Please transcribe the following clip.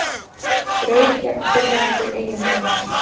Braut gegn fyrrverandi eiginkonu